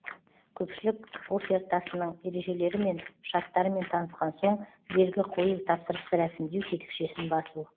көпшілік офертасының ережелері мен шарттарымен танысқан соң белгі қою тапсырысты рәсімдеу тетікшесін басу